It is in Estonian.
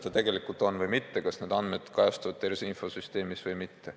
Nad soovisid kontrollida, kas need andmed kajastuvad tervise infosüsteemis või mitte.